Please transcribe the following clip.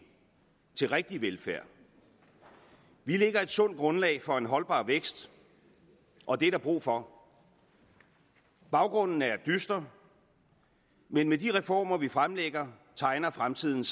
til rigtig velfærd vi lægger et sundt grundlag for holdbar vækst og det er der brug for baggrunden er dyster men med de reformer vi fremlægger tegner fremtiden